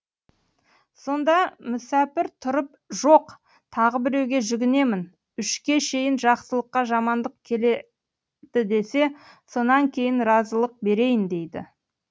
сонда мүсәпір тұрып жоқ тағы біреуге жүгінемін үшке шейін жақсылыққа жамандық келеді десе сонан кейін разылық берейін дейді